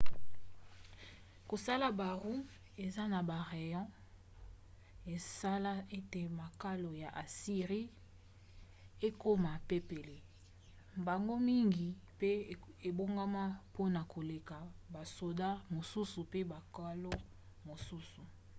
kosala baroues eza na barayons esala ete makalo ya assyrie ekoma pepele mbango mingi mpe ebongama mpona koleka basoda mosusu mpe makalo mosusu